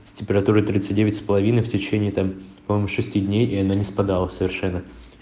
с температурой тридцать девять с половиной в течение там по моему шести дней и она не спадала совершенно